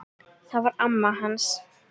Það var amma hans